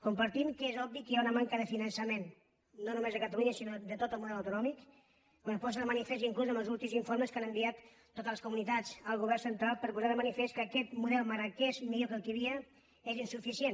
compartim que és obvi que hi ha una manca de finan·çament no només a catalunya sinó de tot el model autonòmic que es posa de manifest inclús amb els últims informes que han enviat totes les comunitats al govern central per posar de manifest que aquest mo·del malgrat que és millor que el que hi havia és insu·ficient